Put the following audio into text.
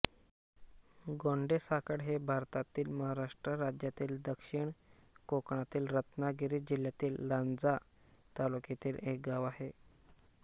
गोंडेसाखळ हे भारतातील महाराष्ट्र राज्यातील दक्षिण कोकणातील रत्नागिरी जिल्ह्यातील लांजा तालुक्यातील एक गाव आहे